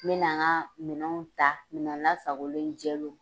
N bɛ na n ka minɛnw ta minɛn lasagolen jɛlenw.